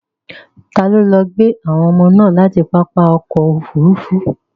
Ta ló lọ gbé àwọn ọmọ láti pápá ọkọ̀ Òfurufú?